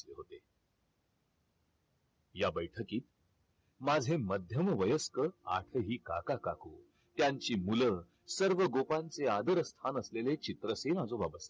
या बैठकीत माझे मध्यम वयस्कर आठही काका काकू त्यांची मुल सर्व गोपांचे आदरस्थान असलेले चित्रसेन आजोबा